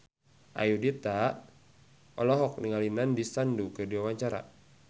Ayudhita olohok ningali Nandish Sandhu keur diwawancara